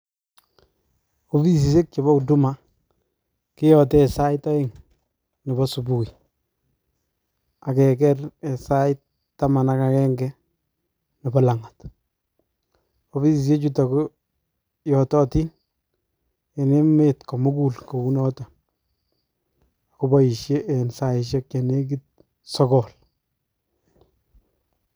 Ofisisiekab chepo huduma keyote en sait aeng nepo subuhi akeker en sai taman akakenge nepo lang'at, ofisisiechuto koyototin en emet komukul kou noto koboisie en saisiek chenekit sogol.